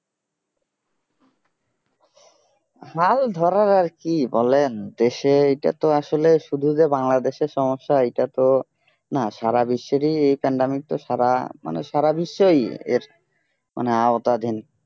হাল ধরার আর কি বলেন দেশে এটা তো আসলে শুধু যে বাংলাদেশের সমস্যা এটা তো না সারা বিশ্বেরই এই pandemic সারা মানে সারা বিশ্বেই এর মানে আওতাধীন